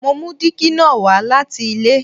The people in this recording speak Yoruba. Mo mú dígí na wá láti ilé